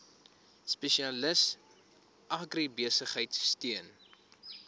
spesialis agribesigheid steun